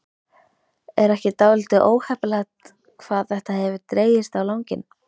Er ekki dálítið óheppilegt hvað þetta hefur dregist á langinn?